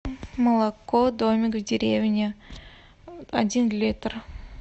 молоко домик в деревне один литр